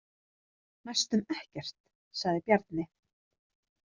Næstum ekkert, sagði Bjarni.